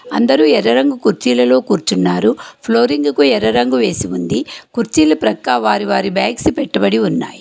అందరూ ఎర్ర రంగు కుర్చీలలో కూర్చున్నారు ఫ్లోరింగుకు ఎర్ర రంగు వేసి ఉంది కుర్చీలు ప్రక్క వారి వారి బ్యాగ్స్ పెట్టబడి ఉన్నాయి.